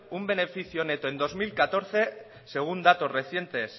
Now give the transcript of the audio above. un beneficio neto en dos mil catorce según datos recientes